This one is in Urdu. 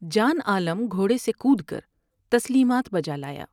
جان عالم گھوڑے سے کود کر تسلیمات بجالایا ۔